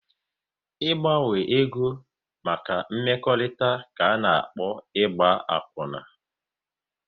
Ị gbanwe ego maka mmekọrịta ka ana-akpọ Ịgba akwuna